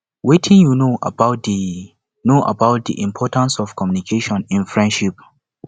wetin you know about di know about di importance of communication in friendship